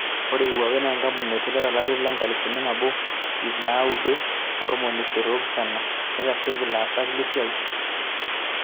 Ore Huawei na enkampuni naiterua to larri le nkalifu nabo ip naudo o ntomoni isiet oopishana, neitasheki ilaasak lesiai.